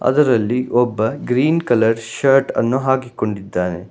ಅದರಲ್ಲಿ ಒಬ್ಬ green colour shirt ಅನ್ನು ಹಾಕಿಕೊಂಡಿದ್ದಾನೆ.